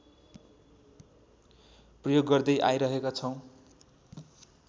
प्रयोग गर्दै आइरहेका छौँ